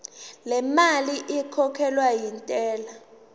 lemali ekhokhelwa intela